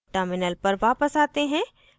terminal पर वापस आते हैं